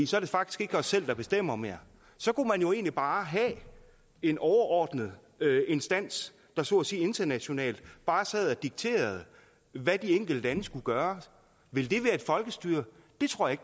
så er det faktisk ikke os selv der bestemmer mere så kunne man jo egentlig bare have en overordnet instans der så at sige internationalt bare sad og dikterede hvad de enkelte lande skulle gøre ville det være et folkestyre det tror jeg